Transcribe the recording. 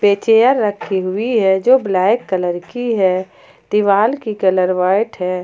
ये चेयर रखी हुई है जो ब्लैक कलर की है दीवार की कलर व्हाइट है।